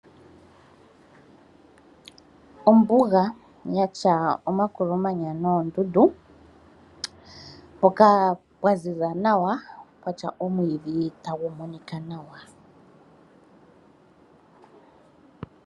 Ombuga yatya omakolomanya noondundu, mpoka mpwa ziza nawa pwatya omiidhi tagumonika nawa